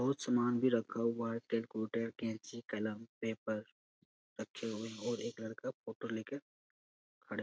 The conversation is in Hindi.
बहुत सामान भी रखा हुआ है कैलकुलेटर कैंची कलम पेपर रखे हुए हैं और एक लड़का फोटो ले के खड़े --